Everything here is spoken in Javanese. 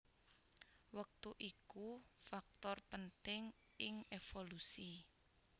Wektu iku faktor penting ing évolusi